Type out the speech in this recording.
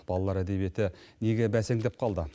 балалар әдебиеті неге бәсеңдеп қалды